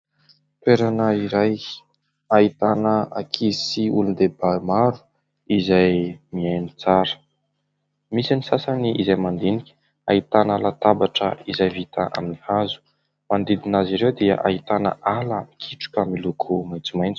Toerana iray ahitana ankizy sy olondehibe maro izay mihaino tsara. Misy ny sasany izay mandinika. Ahitana latabatra izay vita amin'ny hazo. Manodidina azy ireo dia ahitana ala mikitroka miloko maitsomaitso.